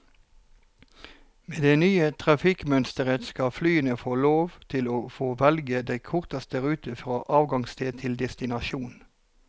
Med det nye trafikkmønsteret skal flyene få lov til å få velge den korteste rute fra avgangssted til destinasjon.